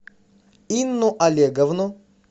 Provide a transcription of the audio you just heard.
инну олеговну